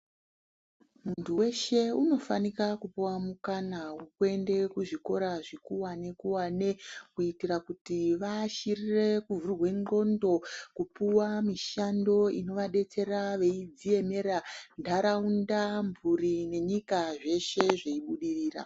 Muntu weshe unofanika kupuwa mukana wekuende kuzvikora zvikurwane kurwane kuitira kuti vashirire kuvhurwe ngqondo, kupuwa mishando inovadetsera beyidziyemera ntaraunda mhuri nenyika zveshe zviyibudirira.